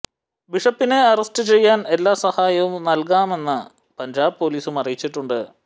ബിഷപ്പിനെ അറസ്റ്റ് ചെയ്യാൻ എല്ലാ സഹായവും നൽകാമെന്ന് പഞ്ചാബ് പൊലീസും അറിയിച്ചിട്ടുണ്ട്